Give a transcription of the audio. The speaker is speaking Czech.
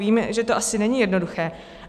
Vím, že to asi není jednoduché.